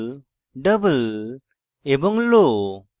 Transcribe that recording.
double এবং low